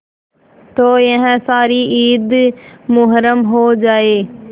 तो यह सारी ईद मुहर्रम हो जाए